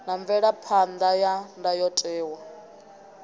na mvelaphan ḓa ya ndayotewa